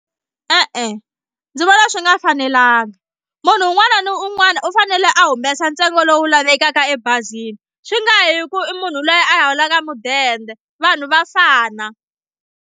E-e ndzi vona swi nga fanelanga munhu un'wana na un'wana u fanele a humesa ntsengo lowu lavekaka ebazini swi nga yi hi ku i munhu loyi a holaka mudende vanhu va fana.